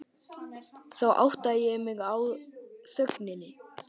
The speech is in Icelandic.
Þá áttaði ég mig líka á þögninni.